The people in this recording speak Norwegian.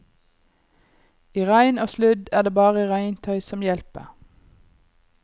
I regn og sludd er det bare regntøy som hjelper.